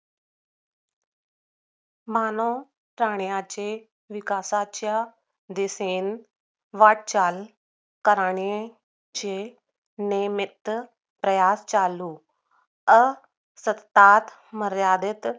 मानावं प्राण्याची विकासाच्या दिसेल वाटचाल करणे चे निमित्त प्रयास चालू अं सत्ता मर्यादित